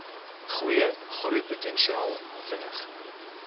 goeie groeipotensiaal vinnig